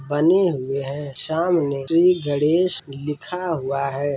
बने हुए हैं सामने श्री गणेश लिखा हुआ है